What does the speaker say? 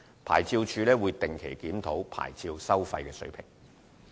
牌照事務處會定期檢討牌照收費水平。